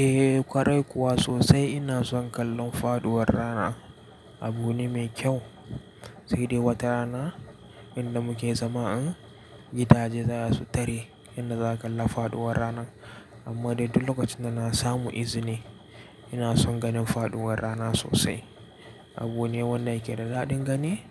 Eh, kwarai kuwa sosai ina son kallon faduwar rana. Abu ne mai kyau, sai dai wata rana inda muke zama din gidaje za su tare inda za ka kalla faduwar ranan. Amma dai duk lokacin da na samu izini ina son ganin faduwar rana sosai. Abu ne wanda yake da daɗin gani,